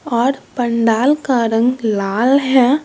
और पंडाल का रंग लाल है।